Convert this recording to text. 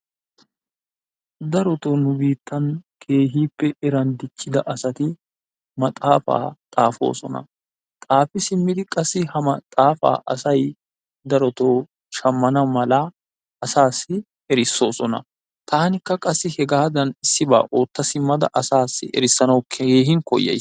Darotoo nu biittan keehippe eray diiccida asati maxaafaa xaafoosona. xaafi simmidi qaassi ha maaxafaa asay darotoo shaammana mala asaasi erissoosona. Tanikka qassi issibaa otta simmada asaassi erissanawu keehi koyyays.